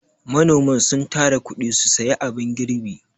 Manoman sun tara kuɗi su sayi abun girbi.